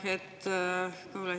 Aitäh!